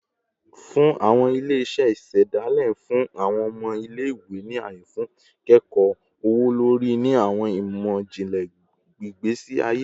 Awọn ile-iṣẹ isedale n fun awọn ọmọ ile-iwe ni aye fun ikẹkọ ọwọ-lori ni awọn imọ-jinlẹ igbesi aye